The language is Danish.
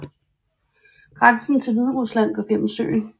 Grænsen til Hviderusland går gennem søen